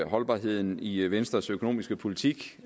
holdbarheden i venstres økonomiske politik